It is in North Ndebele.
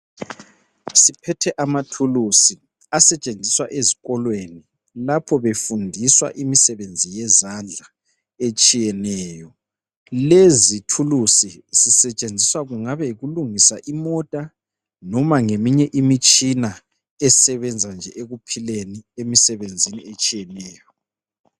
Siphethe amathulusi asetshenziswa ezikolweni lapho befundiswa imisebenzi yezandla etshiyeneyo lezi thuluzi zisetshenziswa kungabe yikulungisa imota noma ngeminye imitshina esebenza nje ekuphileni emisebenzini etshiyeneyo.